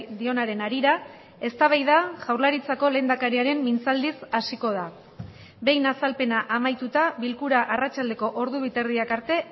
dionaren harira eztabaida jaurlaritzako lehendakariaren mintzaldiz hasiko da behin azalpena amaituta bilkura arratsaldeko ordu bi eta erdiak arte